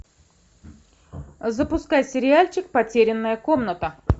запускай сериальчик потерянная комната